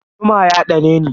Zuma ya ɗaneni.